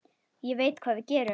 Ég veit hvað við gerum!